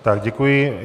Tak děkuji.